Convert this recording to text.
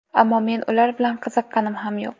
Ammo men ular bilan qiziqqanim ham yo‘q.